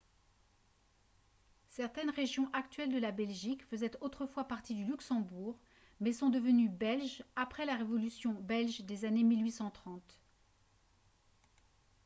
certaines régions actuelles de la belgique faisaient autrefois partie du luxembourg mais sont devenues belges après la révolution belge des années 1830